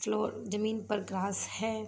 Floor जमीन पर घास हैं।